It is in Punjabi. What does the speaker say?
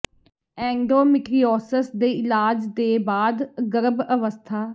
ਐਂਂਡ ੋੋਮਿਟ੍ਰ ੀਓਿਸਸ ਦੇ ਇਲਾਜ ਦੇ ਬਾਅਦ ਗਰਭ ਅਵਸਥਾ